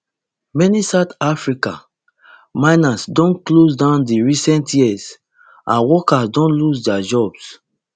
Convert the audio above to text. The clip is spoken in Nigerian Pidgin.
many south african mines don close down in recent years and workers don lose dia jobs